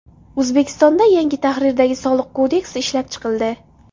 O‘zbekistonda yangi tahrirdagi Soliq kodeksi ishlab chiqildi.